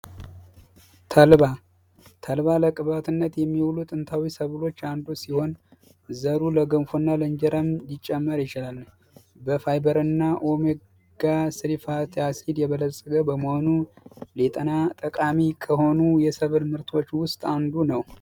ተልባ ተልባ ለቅባትነት የሚውል ጥንታዊ ሰብሎች አንዱ ሲሆን ዘሩ ለገንፎ እና ለእንጀራም ሊጨመር ይችላል። በፋይበር እና ኦሜጋ -3 ፋቲ አሲድ የበለፀገ በመሆኑ ለጤና ጠቃሚ ከሆኑ የሰብል ምርቶች ውስጥ አንዱ ነው።